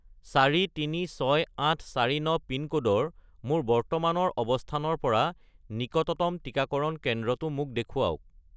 436849 পিনক'ডৰ মোৰ বৰ্তমানৰ অৱস্থানৰ পৰা নিকটতম টিকাকৰণ কেন্দ্ৰটো মোক দেখুৱাওক